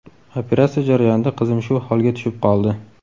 Operatsiya jarayonida qizim shu holga tushib qoldi.